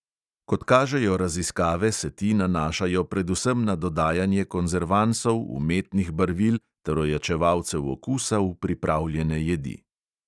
Kot kažejo raziskave, se ti nanašajo predvsem na dodajanje konzervansov, umetnih barvil ter ojačevalcev okusa v pripravljene jedi.